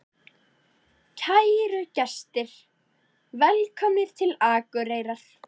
Kæru gestir! Velkomnir til Akureyrar.